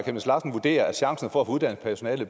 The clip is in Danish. chemnitz larsen vurdere at chancerne for at få uddannet personale